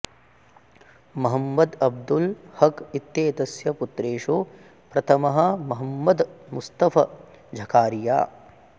महम्मद् अब्दुल् हक् इत्येतस्य पुत्रेषु प्रथमः महम्मद् मुस्तफ झखारिया